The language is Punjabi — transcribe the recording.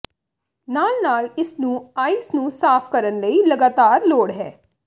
ਨਾਲ ਨਾਲ ਇਸ ਨੂੰ ਆਈਸ ਨੂੰ ਸਾਫ਼ ਕਰਨ ਲਈ ਲਗਾਤਾਰ ਲੋੜ ਹੈ